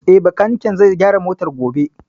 Eh, Bakaniken zai gyara motar gobe